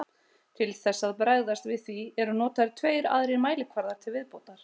Til þess að bregðast við því eru notaðir tveir aðrir mælikvarðar til viðbótar.